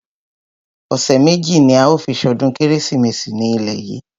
Ọ̀sẹ̀ méjì ní a ó fi ṣọdún kérésìmesì ní ilé yìí.